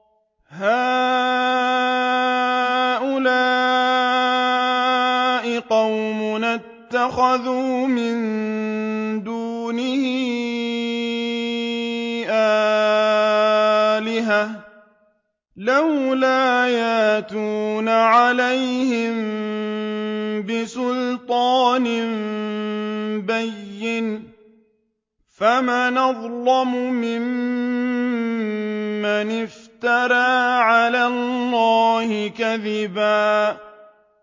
هَٰؤُلَاءِ قَوْمُنَا اتَّخَذُوا مِن دُونِهِ آلِهَةً ۖ لَّوْلَا يَأْتُونَ عَلَيْهِم بِسُلْطَانٍ بَيِّنٍ ۖ فَمَنْ أَظْلَمُ مِمَّنِ افْتَرَىٰ عَلَى اللَّهِ كَذِبًا